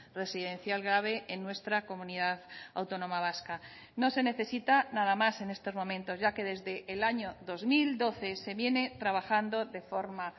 residencial grave en nuestra comunidad autónoma vasca no se necesita nada más en estos momentos ya que desde el año dos mil doce se viene trabajando de forma